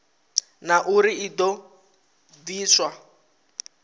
na uri i do pfiswa